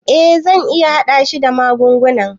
Eh zan iya hada shi da magungunan.